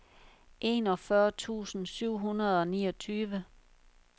enogfyrre tusind syv hundrede og niogtyve